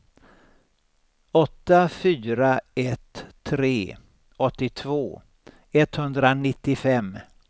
åtta fyra ett tre åttiotvå etthundranittiofem